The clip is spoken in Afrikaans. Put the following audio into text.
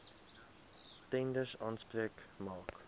tenders aanspraak maak